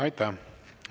Aitäh!